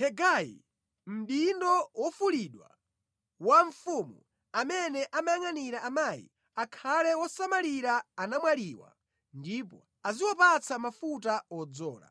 Hegai, mdindo wofulidwa wa mfumu, amene amayangʼanira amayi, akhale wosamalira anamwaliwa ndipo aziwapatsa mafuta odzola.